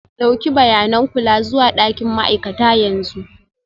Ɗauki bayanin kula zuwa ɗakin ma'aikata yanzu.